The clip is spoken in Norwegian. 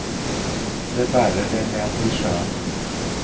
De bærer det ned til sjøen.